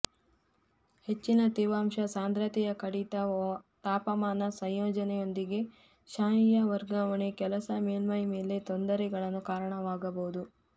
ಹೆಚ್ಚಿನ ತೇವಾಂಶ ಸಾಂದ್ರತೆಯ ಕಡಿತ ತಾಪಮಾನ ಸಂಯೋಜನೆಯೊಂದಿಗೆ ಶಾಯಿಯ ವರ್ಗಾವಣೆ ಕೆಲಸ ಮೇಲ್ಮೈ ಮೇಲೆ ತೊಂದರೆಗಳನ್ನು ಕಾರಣವಾಗಬಹುದು